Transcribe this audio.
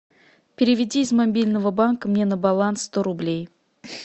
переведи из мобильного банка мне на баланс сто рублей